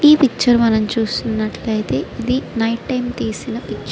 ఈ పిక్చర్ మనము చూస్తునట్లేతే ఇది నైట్ టైం తీసిన పిక్చర్ --